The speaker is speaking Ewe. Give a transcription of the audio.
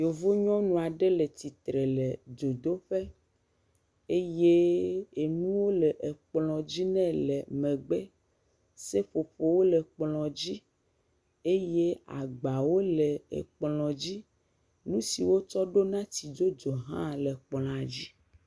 Yevu nyɔnu aɖe le tsitre le dzodoƒe eye enuwo le ekplɔ dzi nɛ le megbe, seƒoƒowo le kplɔ dzi eye agbawo le ekplɔ dzi nu si wotsɔ ɖona tsidzodzo hã le kplɔa dzi.